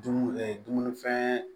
Dumuni dumunifɛn